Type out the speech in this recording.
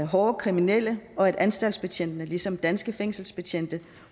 hårde kriminelle og at anstaltsbetjentene ligesom de danske fængselsbetjente